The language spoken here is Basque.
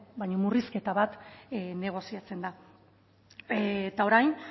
baina murrizketa bat negoziatzen da eta orain